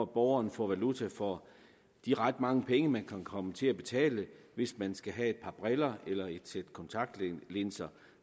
borgeren får valuta for de ret mange penge som man kan komme til at betale hvis man skal have et par briller eller et sæt kontaktlinser